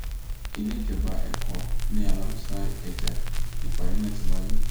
ilé ìjọba ẹkọ ni aláùsù ìkẹjà nípàdé náà ti wáyé